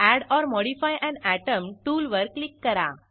add or modify an atom टूलवर click करा